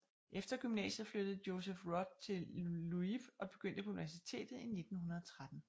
Efter gymnasiet flyttede Joseph Roth til Lviv og begyndte på universitet i 1913